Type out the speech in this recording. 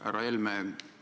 Härra Helme!